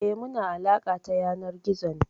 Eh, muna alaƙa ta yanar gizo ne.